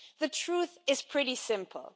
The truth is pretty simple.